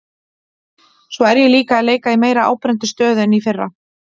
Svo er ég líka að leika í meira áberandi stöðu en í fyrra.